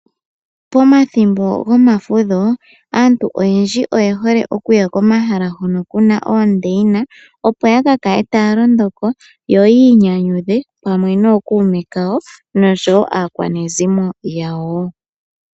Pomathimbo gomafudho aantu oyendji oye hole okuya komahala hono kuna oondaina ,opo ya ka kale taya londo ko yo yi inyanyudha pamwe nookuume kawo noshowo aakwanezimo yawo.